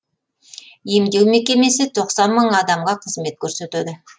емдеу мекемесі тоқсан мың адамға қызмет көрсетеді